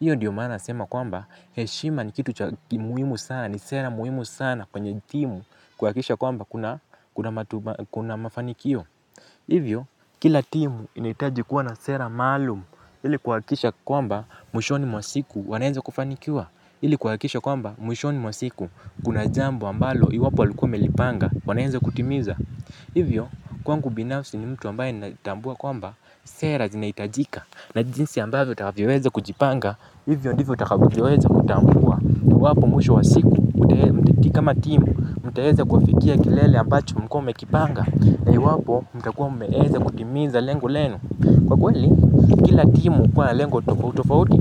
Hiyo ndio maana nasema kwamba heshima ni kitu cha muhimu sana ni sera muhimu sana kwenye timu kuhakikisha kwamba kuna mafanikio. Hivyo, kila timu inahitaji kuwa na sera maalumu, ili kuhakikisha kwamba mwishoni mwa siku wanaenza kufanikia, ili kuhakikisha kwamba mwishoni mwa siku kuna jambo ambalo iwapo walikuwa wamelipanga wanaeza kutimiza. Hivyo, kwangu binafsi ni mtu ambaye ninatambua kwamba, sera zinahitajika, na jinsi ambavyo utakavyoweza kujipanga, hivyo ndivyo utakavyoweza kutambua. Iwapo mwisho wa siku, kama timu, mtaeza kufikia kilele ambacho mulikuwa mmekipanga. Na iwapo mtakuwa mmeeza kutimiza lengo lenu. Kwa kweli, kila timu hukuwa na lengo tofauti tofauti